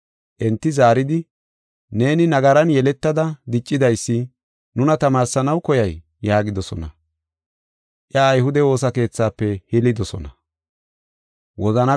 Enti zaaridi, “Neeni nagaran yeletada diccidaysi nuna tamaarsanaw koyay?” yaagidosona. Iya ayhude woosa keethafe hilidosona.